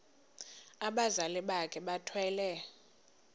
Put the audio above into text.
abazali bakhe bethwele